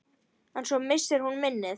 En svo missir hún minnið.